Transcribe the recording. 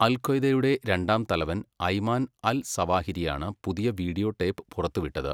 അൽ ഖ്വയ്ദയുടെ രണ്ടാം തലവൻ അയ്മാൻ അൽ സവാഹിരിയാണ് പുതിയ വീഡിയോ ടേപ്പ് പുറത്തുവിട്ടത്.